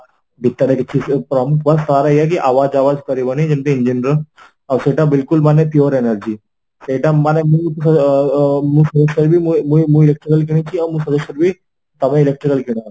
ଭିତରେ କିଛି prompt ବା sir ଏଇଆ କି କରିବନି ଯେମିତି engine ର ଆଉ ସେଇଟା ବିଲକୁଲ ମାନେ pure energy ସେଇଟା ମାନେ ମୁଁ ଆ miss use କରିବି ମୁଁ ମୁଁ electrical କିଣିଛି ଆଉ ତାପାଇଁ electrical କିଣ